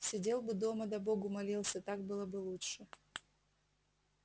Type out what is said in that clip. сидел бы дома да богу молился так было бы лучше